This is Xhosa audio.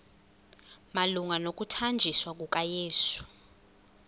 malunga nokuthanjiswa kukayesu